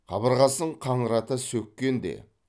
қабырғасын қаңырата сөккен де